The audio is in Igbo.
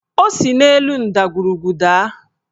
O si n'elu ndagwurugwu daa